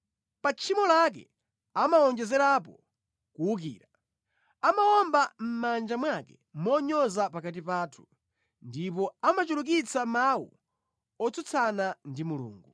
Pa tchimo lake amawonjezerapo kuwukira; amawomba mʼmanja mwake monyoza pakati pathu, ndipo amachulukitsa mawu otsutsana ndi Mulungu.”